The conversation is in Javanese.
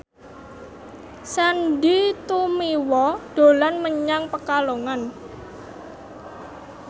Sandy Tumiwa dolan menyang Pekalongan